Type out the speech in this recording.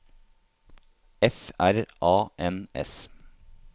F R A N S